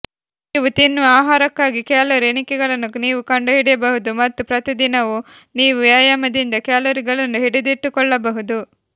ನೀವು ತಿನ್ನುವ ಆಹಾರಕ್ಕಾಗಿ ಕ್ಯಾಲೋರಿ ಎಣಿಕೆಗಳನ್ನು ನೀವು ಕಂಡುಹಿಡಿಯಬಹುದು ಮತ್ತು ಪ್ರತಿದಿನವೂ ನೀವು ವ್ಯಾಯಾಮದಿಂದ ಕ್ಯಾಲೊರಿಗಳನ್ನು ಹಿಡಿದಿಟ್ಟುಕೊಳ್ಳಬಹುದು